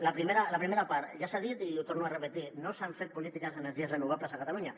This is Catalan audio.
la primera part ja s’ha dit i ho torno a repetir no s’han fet polítiques d’energies renovables a catalunya